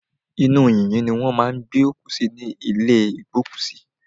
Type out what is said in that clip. Inú yìnyín ni wọ́n má a ń gbé òkú sí ní ìlé ìgbókùsí.